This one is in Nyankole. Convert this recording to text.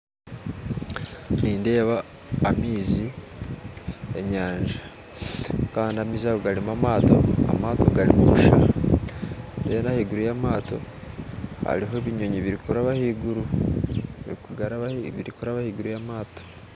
Nindeeba amaizi g'enyanja kandi amaizi ago garimu amaato agarimu busha kandi ahaiguru y'amaato hariho ebinyonyi birikuraba ahaiguru y'amaato